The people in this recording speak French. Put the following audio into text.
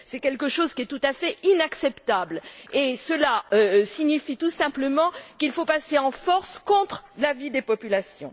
C'est quelque chose de tout à fait inacceptable et cela signifie tout simplement qu'il faut passer en force contre l'avis des populations.